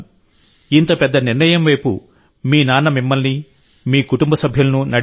ఇంత పెద్ద నిర్ణయంవైపు మీ నాన్న మిమ్మల్ని మీ కుటుంబ సభ్యులను నడిపించారు